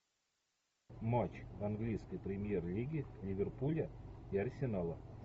матч английской премьер лиги ливерпуля и арсенала